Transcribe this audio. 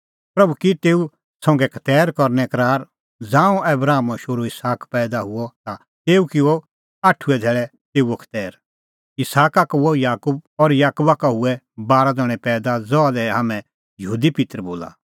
प्रभू की तेऊ संघै खतैर करने करार ज़ांऊं आबरामो शोहरू इसहाक पैईदा हुअ ता तेऊ किअ आठुऐ धैल़ै तेऊओ खतैर इसहाका का हुअ याकूब और याकूबा का हुऐ बारा ज़ण्हैं पैईदा ज़हा लै हाम्हैं यहूदी पित्तर बोला